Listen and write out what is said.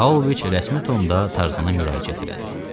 Pauloviç rəsmi tonda Tarzana müraciət elədi.